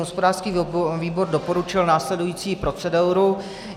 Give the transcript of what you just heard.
Hospodářský výbor doporučil následující proceduru.